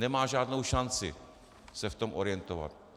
Nemá žádnou šanci se v tom orientovat.